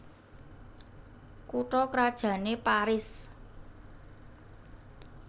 Kutha krajanné Paris